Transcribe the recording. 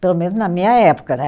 Pelo menos na minha época, né?